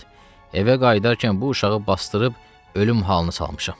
Arvad, evə qayıdarkən bu uşağı basdırıb ölüm halına salmışam.